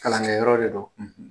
Kalankɛ yɔrɔ de don;